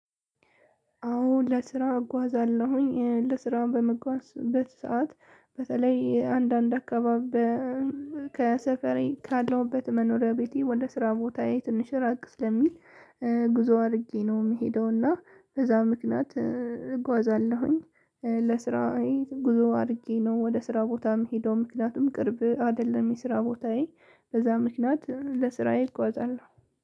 አዎ ለስራ እጓዛለሁኝ ለስራ በምጓዝበት ሰዓት በተለይ አንዳንድ አካባቢ። ከሰፈሬ ካለውበት መኖሪያ ቤቴ ወደ ስራ ቦታዬ ትንሽ ራቅ ስለሚል ጉዞ አድርጌ ነው የምሄደው። እና በዛ ምክንያት እጓዛለሁኝ። ለስራዬ ጉዞ አድርጌ ነው ወደ ስራ ቦታ ምሄደው ምክንያቱም ቅርብ አይደለም የስራ ቦታዬ። በዛ ምክንያት ለስራዬ እጓዛለሁ።